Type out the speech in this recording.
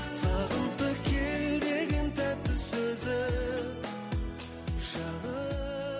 сағынтып кел деген тәтті сөзің